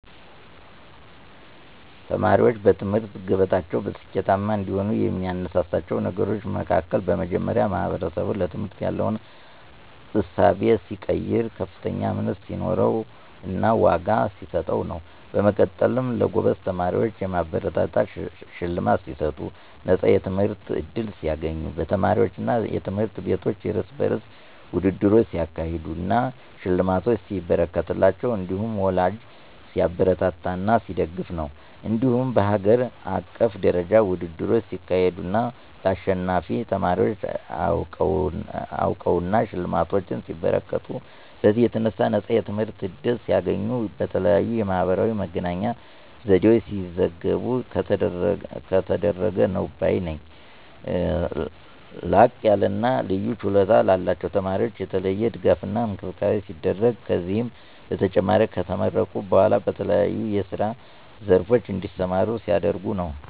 ተማሪዎችን በትምህርት ገበታቸው ስኬታማ እንዲሆኑ የሚያነሳሳቸው ነገሮች መሀከል በመጀመሪያ ማህበረሰቡ ለትምህርት ያለው እሳቤ ሲቀየር፥ ከፍተኛ እምነት ሲኖረውና ዋጋ ሲሰጥ ነው። በመቀጠልም ለጎበዝ ተማሪዎች የማበረታቻ ሽልማት ሲሰጡ፣ ነፃ የትምህርት ዕድል ሲያገኙ፣ በተማሪዎቹ አና ትምህርት ቤቶች የርስ በርስ ውድድሮች ሲያካሄዱ አና ሽልማት ሲበረከትላቸው እንዲሁም ወላጂ ሲያበረታታና ሲደግፍ ነው። እንዲሁም በሀገር አቀፍ ደረጃ ውድድሮች ሲካሄዱ አና ለአሸናፊ ተማሪወች አውቅናና ሽልማቶች ሲበረከቱ፤ በዚህም የተነሣ ነፃ የትምህርት ዕድል ሲያገኙ፣ በተለያየ የማህበራዊ መገናኛ ዘዴወች ሲዘገቡ ከተደረገ ነው ባይ ነኝ። ላቅያለና ልዩ ችሎታ ላላቸው ተማሪወች የተለየ ድጋፍና እንክብካቤ ሲደረግ፤ ከዚህም በተጨማሪ ከተመረቁ በኋላ በተለያዬ የስራ ዘርፎች እንዲሰማሩ ሲደረጉ ነው።